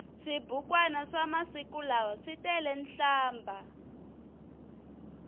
swibukwani swamasiku lawa switelenhlambha